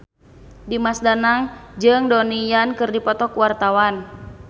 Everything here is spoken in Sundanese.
Dimas Danang jeung Donnie Yan keur dipoto ku wartawan